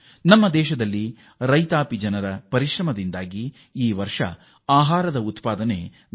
ನಮ್ಮ ದೇಶದಲ್ಲಿ ರೈತಾಪಿ ಜನರ ಪರಿಶ್ರಮದಿಂದಾಗಿ ದಾಖಲೆಯ ಆಹಾರ ಧಾನ್ಯ ಉತ್ಪಾದನೆ ಆಗಿದೆ